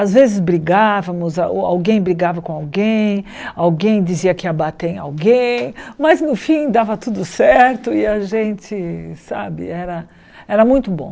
Às vezes brigávamos, alguém brigava com alguém, alguém dizia que ia bater alguém, mas no fim dava tudo certo e a gente, sabe, era era muito bom.